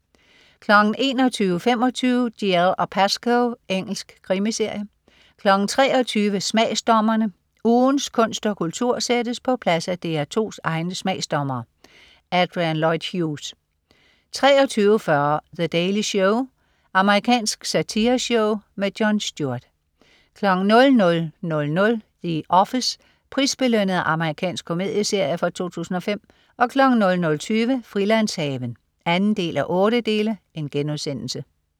21.25 Dalziel & Pascoe. Engelsk krimiserie 23.00 Smagsdommerne. Ugens kunst og kultur sættes på plads af DR2's egne smagsdommere. Adrian Lloyd Hughes 23.40 The Daily Show. Amerikansk satireshow. Jon Stewart 00.00 The Office. Prisbelønnet amerikansk komedieserie fra 2005 00.20 Frilandshaven 2:8*